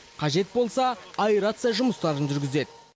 қажет болса аэрация жұмыстарын жүргізеді